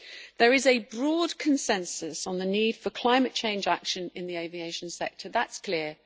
There is a broad consensus on the need for climate change action in the aviation sector. That is clear.